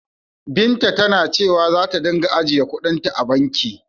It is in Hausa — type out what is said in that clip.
Binta tana cewa zata ringa ajiyekuɗin ta a banki.